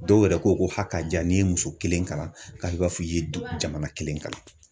Dɔw yɛrɛ ko ko a kaja, n'i ye muso kelen kalan, i b'a fɔ i ye du jamana kelen kalan.